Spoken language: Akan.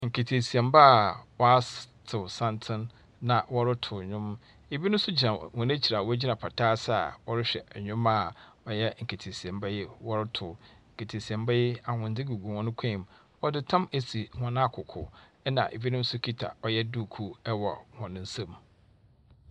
Nketeesiamba a wɔas wɔato santen na wɔroto nnwom. Ebinom nso gyina hɔn ekyir a wɔgyina pata ase a wɔrehwɛ nneɛma a ɔyɛ nketeesiamba yi wɔretow. Nketeesiamba yi, ahwendze gugu hɔn kɔn mu. Wɔdze tam esi hɔn akoko, ɛnna ebinom nso kuta ɔyɛ duukuu wɔ hɔn nsam.